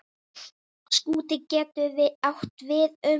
Skúti getur átt við um